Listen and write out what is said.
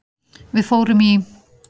Við fórum í